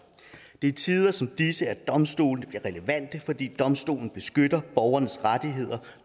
i tider som disse at domstole bliver relevante fordi domstole beskytter borgernes rettigheder